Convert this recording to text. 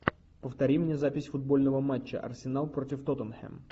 повтори мне запись футбольного матча арсенал против тоттенхэм